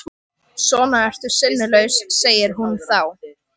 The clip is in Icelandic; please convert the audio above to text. Svona ertu sinnulaus, segir hún þá.